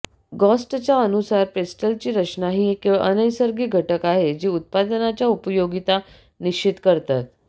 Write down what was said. गॉस्टच्या अनुसार पेस्टेलची रचना ही केवळ नैसर्गिक घटक आहे जी उत्पादनाच्या उपयोगिता निश्चित करतात